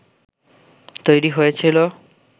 তৈরি হয়েছিল